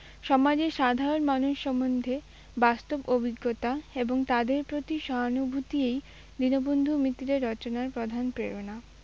সমাজের সাধারণ মানুষ সম্বন্ধে বাস্তব অভিজ্ঞতা এবং তাদের প্রতি সহানুভূতিই দীনবন্ধু মিত্রের রচনার প্রধান প্রেরণা।